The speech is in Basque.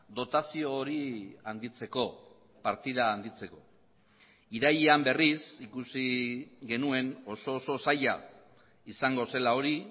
dotazio hori handitzeko partida handitzeko irailean berriz ikusi genuen oso oso zaila izango zela hori